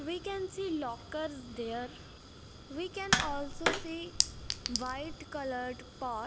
we can see lockers there we can also see white colored path.